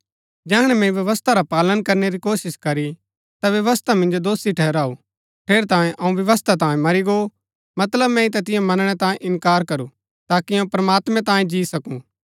जैहणै मैंई व्यवस्था रा पालन करनै री कोशिश करी ता व्यवस्था मिन्जो दोषी ठहराऊ ठेरैतांये अऊँ व्यवस्था तांये मरी गो मतलब मैंई तैतिओ मनणै तांये इन्कार करू ताकि अऊँ प्रमात्मैं तांये जी सकूँ